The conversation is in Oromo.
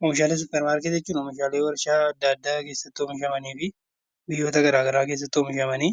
Oomishaalee suuparmaarketii jechuun oomishaalee warshaa adda addaa keessatti oomishamanii fi biyyoota gara garaa keessatti oomishamanii